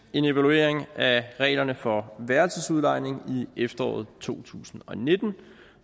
en evaluering af reglerne for værelsesudlejning i efteråret to tusind og nitten